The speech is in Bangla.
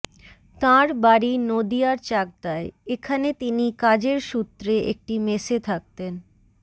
তাঁর বাড়ি নদীয়ার চাকদায় এখানে তিনি কাজের সূত্রে একটি মেসে থাকতেন